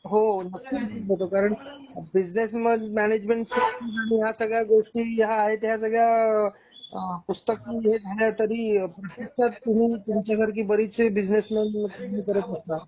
हो. उपयोग होतो कारण बिजनेस मॅनेजमेंट सोळामध्ये ह्या सगळ्या गोष्टी या आहेत त्या सगळ्या पुस्तकी मिळेल तरी जर तुम्ही तुम्ही तुमच्या सारखे बरेचशे बिजनेस मॅन करत असता.